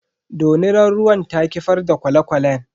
Dorinar ruwan ta kifar da kwale kwalen.